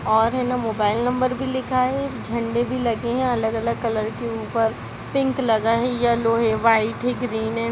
और है ना मोबाइल नंबर भी लिखा है झंडे भी लगे है अलग-अलग कलर की उप्पर पिंक लगा है येलो हे वाइट हे ग्रीन हे।